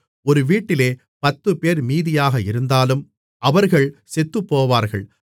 ஒரு வீட்டிலே பத்துப்பேர் மீதியாக இருந்தாலும் அவர்கள் செத்துப்போவார்கள்